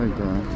Ay sağ ol.